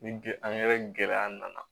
Ni g angɛrɛ gɛlɛya nana